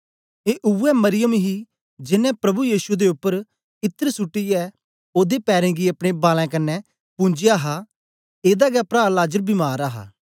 ए उवै मरियम ही जेनें प्रभु यीशु दे उपर इत्र सुट्टीयै ओदे पैरें गी अपने बालैं कन्ने पुन्जया हा एदा गै प्रा लाजर बीमार हा